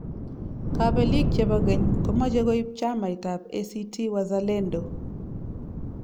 Kabelik chebo geny komache koib chamait ab ACT-Wazalendo